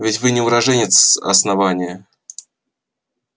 ведь вы не уроженец основания